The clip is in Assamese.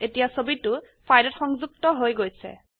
এতিয়া ছবিটো ফাইলত সংযুক্ত হৈ গৈছে